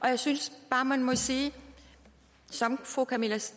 jeg synes bare man må sige som fru camilla